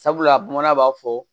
Sabula bamanan b'a fɔ